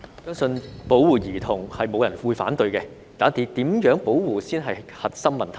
相信沒有人會反對保護兒童，但如何保護才是核心問題。